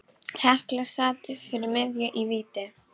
Hekla sat fyrir miðju í víti.